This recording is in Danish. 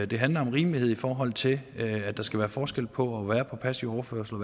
det handler om rimelighed i forhold til at der skal være forskel på at være på passiv overførsel